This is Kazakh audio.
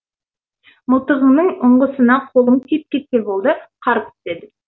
мылтығыңның ұңғысына қолың тиіп кетсе болды қарып түседі